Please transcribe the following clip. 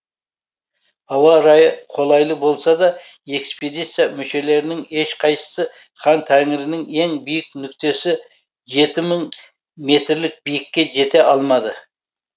ауа райы қолайлы болса да экспедиция мүшелерінің ешқайсысы хан тәңірінің ең биік нүктесі жеті мың метрлік биіктікке жете алмады